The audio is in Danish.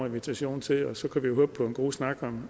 invitation til og så kan vi håbe på en god snak